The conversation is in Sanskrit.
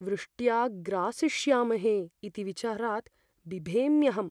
वृष्ट्या ग्रासिष्यामहे इति विचारात् बिभेम्यहम्।